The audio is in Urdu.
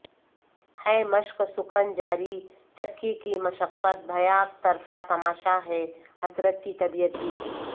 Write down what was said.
ہے مشق سخن جاری چکی کی مشقت بھیاک طرفہ تماشا ہے حسرت کی طبیعت بھی